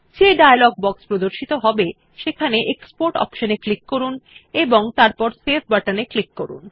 যে dialogue box প্রদর্শিত হবে সেখানে এক্সপোর্ট অপশন এ ক্লিক করুন এবং তারপর সেভ বাটন এ ক্লিক করুন